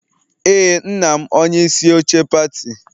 Ee, nna m onye isi oche pati